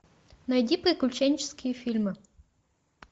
найди приключенческие фильмы